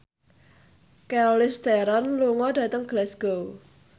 Charlize Theron lunga dhateng Glasgow